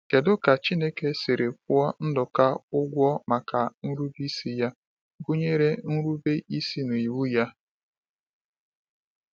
Kedu ka Chineke siri kwụọ Nduka ụgwọ maka nrube isi ya, gụnyere nrube isi n’iwu Ya?